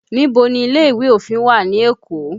Níbo ni ilé ìwé òfin wà ní Èkó?